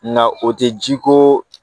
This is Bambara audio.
Na o tɛ ji ko